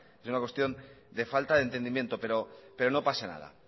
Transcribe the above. es una cuestión de falta de entendimiento pero no pasa nada